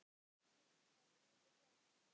Jú, það líður hjá.